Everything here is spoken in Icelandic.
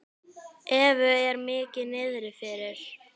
Evu er mikið niðri fyrir.